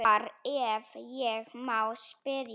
Hvar, ef ég má spyrja?